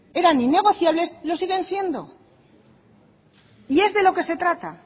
eran innegociables lo siguen siendo y es de lo que se trata